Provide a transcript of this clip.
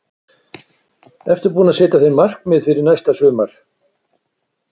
Ertu búinn að setja þér markmið fyrir næsta sumar?